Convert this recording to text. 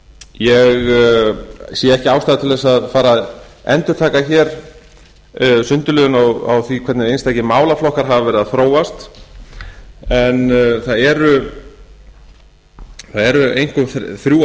ég sé ekki ástæðu til að fara að endurtaka hér sundurliðun á því hvernig einstakir málaflokkar hafa verið að þróast það eru einkum þrjú